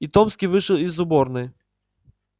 и томский вышел из уборной